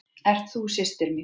Ert þú systir mín?